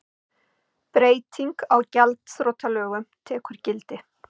Breyting á gjaldþrotalögum tekur gildi